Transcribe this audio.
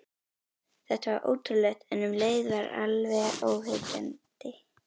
Þetta var ótrúlegt, en um leið alveg óyggjandi.